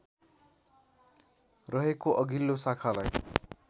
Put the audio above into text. रहेको अघिल्लो शाखालाई